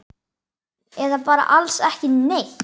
Eða bara alls ekki neitt?